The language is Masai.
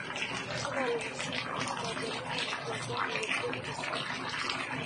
tapala siye matoning lomon le k.b.c